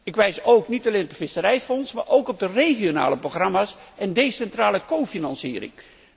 Ik wijs niet alleen op het visserijfonds, maar ook op de regionale programma's en decentrale cofinanciering.